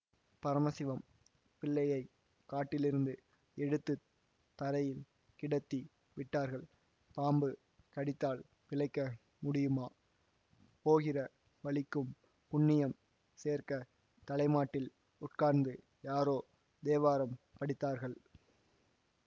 பரம சிவம் பிள்ளையை காட்டிலிருந்து எடுத்து தரையில் கிடத்தி விட்டார்கள் பாம்பு கடித்தால் பிழைக்க முடியுமா போகிற வழிக்கும் புண்ணியம் சேர்க்கத் தலைமாட்டில் உட்கார்ந்து யாரோ தேவாரம் படித்தார்கள்